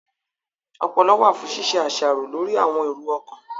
Ọpọlọ wà fún ṣíṣe àṣàrò lórí àwọn èrò ọkàn